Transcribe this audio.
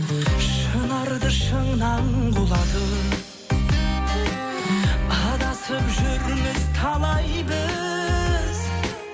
шынарды шыңнан құлатып адасып жүрміз талай біз